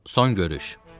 Son görüş.